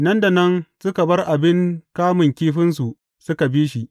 Nan da nan suka bar abin kamun kifinsu suka bi shi.